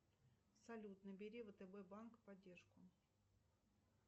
салют набери втб банк поддержку